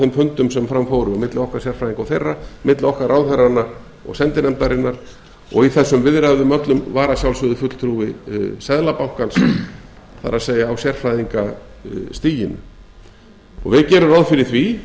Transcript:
þeim fundum sem fram fóru milli okkar sérfræðinga og þeirra milli okkar ráðherranna og sendinefndarinnar og í þessum viðræðum öllum var að sjálfsögðu fulltrúi seðlabankans það er á sérfræðingastiginu við gerum ráð fyrir því að